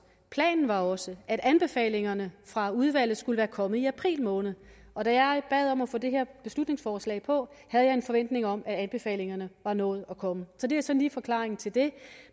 planen var også at anbefalingerne fra udvalget skulle være kommet i april måned og da jeg bad om at få det her beslutningsforslag på jeg en forventning om at anbefalingerne var nået at komme så det er sådan forklaringen til det